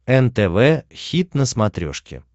нтв хит на смотрешке